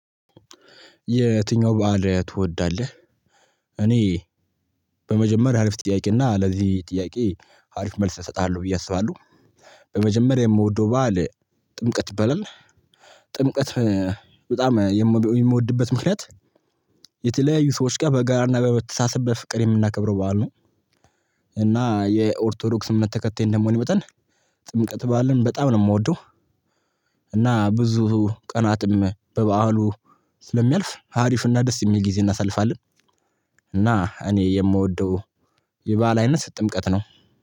የትኛው በዓል ትወዳለህ? እኔ በመጀመሪያ አሪፍ ጥያቄና ለዚህ ጥያቄ አሪፍ መልስ እሰጥሀለው ብዬ አስባለው። በመጀመሪያ የምወደው በዓል ጥምቀት ይባላል። ጥምቀት በጣም የምወድበት ምክንያት የተለያዩ ሰዎች ጋር በጋራና በመተሳሰብ በፍቅር የምናከብረው በዓል ነው። እና የኦርቶዶክስ እምነት ተከታይ እንደመሆኔ መጠን ጥምቀት በዓልን በጣም ነው ምወደው። እና ብዙ ቀናትም በበዓሉ ስለሚያልፍ ሀሪፍና ደስ የሚል ጊዜ እናሳልፋለን። እና እኔ የምወደው የበአል አይነት ጥምቀት ነው